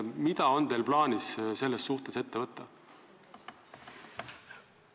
Mida on teil plaanis selles suhtes ette võtta?